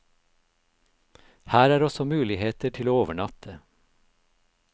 Her er også muligheter til å overnatte.